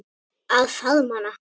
Að faðma hana.